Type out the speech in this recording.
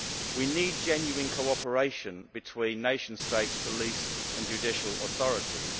We need genuine cooperation between nation states, police and judicial authorities.